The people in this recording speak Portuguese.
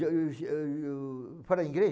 Fala inglês?